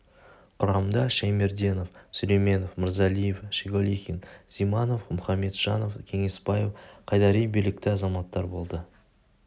құрамында шәймерденов сүлейменов мырзалиев шеголихин зиманов мұхаметжанов кеңесбаев қайдари білікті азаматтар болды